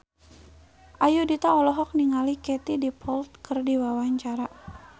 Ayudhita olohok ningali Katie Dippold keur diwawancara